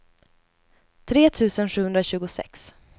tre tusen sjuhundratjugosex